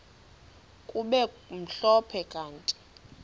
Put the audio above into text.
kube mhlophe kanti